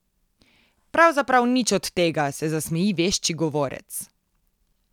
Pravzaprav nič od tega, se zasmeji vešči govorec.